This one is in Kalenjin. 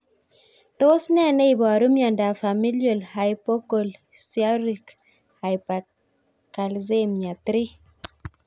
Tos nee neiparu miondop Familial hypocalciuric hypercalcemia 3?